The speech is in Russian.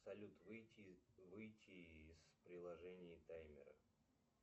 салют выйти из приложения таймер